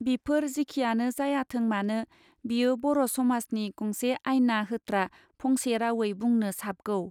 बिफोर जेखियानो जायाथों मानो बियो बर समाजनि गंसे आयना होत्रा फंसे रावै बुंनो साबगौ.